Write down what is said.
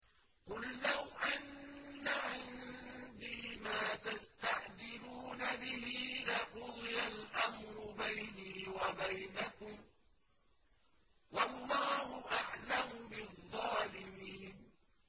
قُل لَّوْ أَنَّ عِندِي مَا تَسْتَعْجِلُونَ بِهِ لَقُضِيَ الْأَمْرُ بَيْنِي وَبَيْنَكُمْ ۗ وَاللَّهُ أَعْلَمُ بِالظَّالِمِينَ